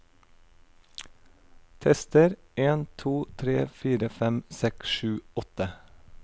Tester en to tre fire fem seks sju åtte